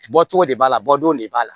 Bɔcogo de b'a la bɔ don de b'a la